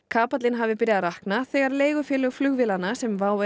kapallinn hafi byrjað að rakna þegar leigufélög flugvélanna sem WOW